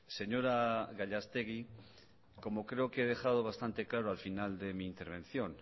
señora gallastegui como creo que he dejado bastante claro al final de mi intervención